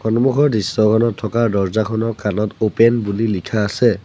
সন্মুখৰ দৃশ্যখনত থকা দৰ্জ্জাখনৰ কানত ওপেন বুলি লিখা আছে।